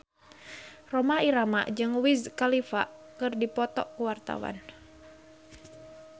Rhoma Irama jeung Wiz Khalifa keur dipoto ku wartawan